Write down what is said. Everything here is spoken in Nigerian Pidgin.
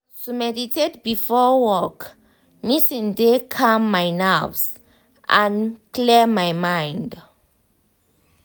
to meditate before work meeting de calm my nerves and clear my mind.